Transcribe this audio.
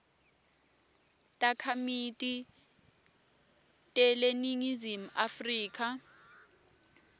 takhamiti teleningizimu afrika